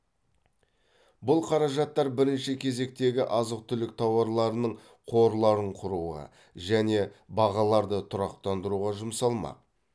бұл қаражаттар бірінші кезектегі азық түлік тауарларының қорларын құруға және бағаларды тұрақтандыруға жұмсалмақ